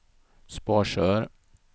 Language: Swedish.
Sparsör